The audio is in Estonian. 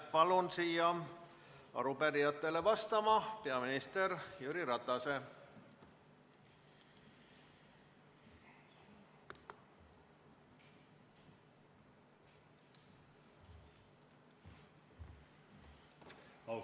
Palun siia arupärijatele vastama peaminister Jüri Ratase!